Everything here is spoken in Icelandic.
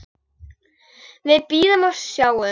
Við bíðum og sjáum.